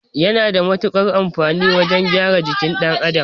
Yana da mutukar amfani wajan gyara jikin ɗan Adam